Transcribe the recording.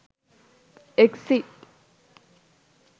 exit